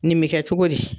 Nin bɛ kɛ cogo di